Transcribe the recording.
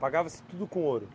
Pagava-se tudo com ouro?